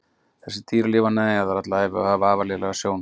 Þessi dýr lifa neðanjarðar alla ævi og hafa afar lélega sjón.